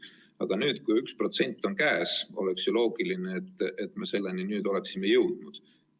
Aga nüüd, kui 1% on käes, oleks ju loogiline, et me selleni oleksime jõudnud.